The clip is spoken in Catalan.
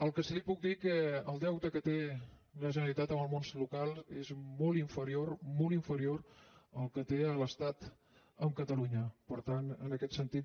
el que sí que li puc dir és que el deute que té la generalitat amb el món local és molt inferior molt inferior al que té l’estat amb catalunya per tant en aquest sentit